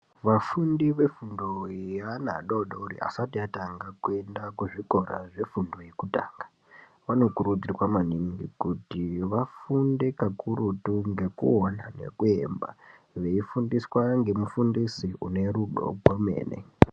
Vafundi vefungo yeana adodori vasati vatanga kuenda kuzvikora zvefundo yekutanga vanokurudzirwa maningi kuti vafunde pakurutu ngekuona ngekuemba veifundiswa nemufundisi une rudo kwemene.